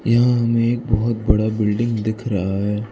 यहां हमें एक बहुत बड़ा बिल्डिंग दिख रहा है।